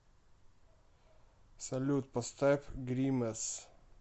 салют поставь гримэс